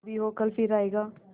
जो भी हो कल फिर आएगा